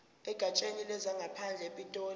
egatsheni lezangaphandle epitoli